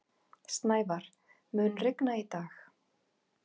Snævar, mun rigna í dag?